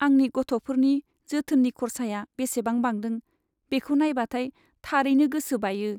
आंनि गथ'फोरनि जोथोननि खर्साया बेसेबां बांदों बेखौ नायबाथाय थारैनो गोसो बायो।